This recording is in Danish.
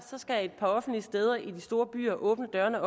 skal et par offentlige steder i de store byer åbne dørene